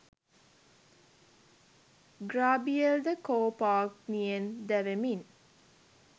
ග්‍රාබියෙල් ද කෝපාග්නියෙන් දැවෙමින්